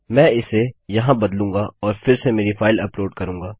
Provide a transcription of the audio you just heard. मैं इसे यहाँ बदलूँगा और फिर से मेरी फाइल अपलोड करूँगा